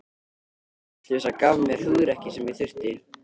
Þessi fullvissa gaf mér hugrekkið sem ég þurfti.